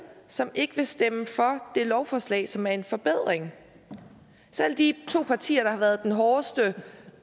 som ikke vil stemme for det lovforslag som er en forbedring selv de to partier der har været de hårdeste